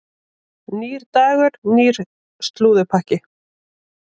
Nýr dagur, nýr slúðurpakki.